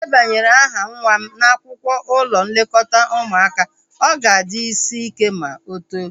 Mụ debanye aha nwa m n'akwụkwọ ụlọ nlekọta ụmụaka, ọ ga-adị isi ike ma o too